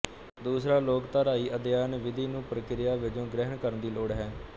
ਦੂਸਰਾ ਲੋਕਧਾਰਾਈ ਅਧਿਐਨ ਵਿਧੀ ਨੂੰ ਪ੍ਰਕਿਰਿਆ ਵਜੋਂ ਗ੍ਰਹਿਣ ਕਰਨ ਦੀ ਲੋੜ ਹੈ